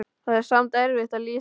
Það er samt erfitt að lýsa afa.